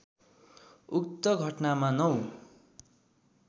उक्त घटनामा ९